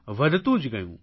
વધતું જ ગયું